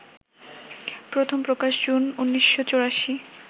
প্রথম প্রকাশ জুন ১৯৮৪